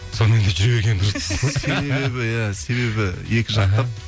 сонымен де жүре берген дұрыс себебі иә себебі екі жақтап